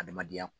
Adamadenya